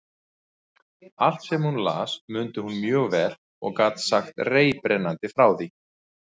Allt, sem hún las, mundi hún mjög vel og gat sagt reiprennandi frá því.